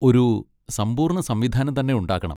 ഒരു സമ്പൂർണ്ണ സംവിധാനം തന്നെ ഉണ്ടാക്കണം.